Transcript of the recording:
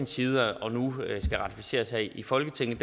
side og nu skal ratificeres her i folketinget